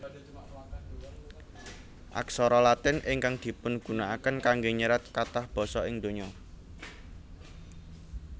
Aksara Latin ingkang dipungunakaken kanggé nyerat kathah basa ing donya